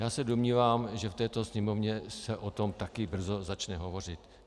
Já se domnívám, že v této Sněmovně se o tom také brzo začne hovořit.